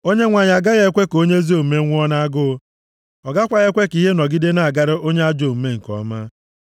Onyenwe anyị agaghị ekwe ka onye ezi omume nwụọ nʼagụụ, ọ gakwaghị ekwe ka ihe nọgide na-agara onye ajọ omume nke ọma.